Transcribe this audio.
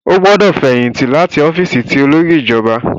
O gbọdọ fẹyìntì láti ọfiisi ti olórí ìjọba!